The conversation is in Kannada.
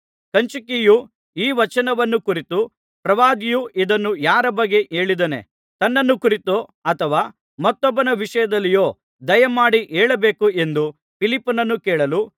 ಕಂಚುಕಿಯು ಈ ವಚನವನ್ನು ಕುರಿತು ಪ್ರವಾದಿಯು ಇದನ್ನು ಯಾರ ಬಗ್ಗೆ ಹೇಳಿದ್ದಾನೆ ತನ್ನನ್ನು ಕುರಿತೋ ಅಥವಾ ಮತ್ತೊಬ್ಬನ ವಿಷಯದಲ್ಲಿಯೋ ದಯಮಾಡಿ ಹೇಳಬೇಕು ಎಂದು ಫಿಲಿಪ್ಪನನ್ನು ಕೇಳಲು